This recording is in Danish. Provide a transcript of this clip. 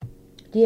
DR2